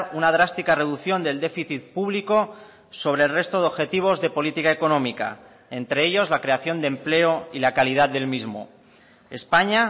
una drástica reducción del déficit público sobre el resto de objetivos de política económica entre ellos la creación de empleo y la calidad del mismo españa